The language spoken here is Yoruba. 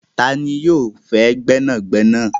Tani yóò fẹ gbẹnàgbẹ̀nà?